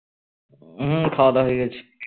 হম খাওয়া দাওয়া হয়ে গেছে